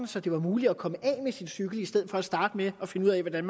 så det var muligt at komme af med sin cykel i stedet for at starte med at finde ud af hvordan